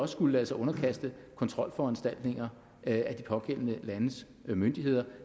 skulle lade sig underkaste kontrolforanstaltninger af de pågældende landes myndigheder